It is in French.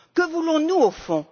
Que voulons nous au fond?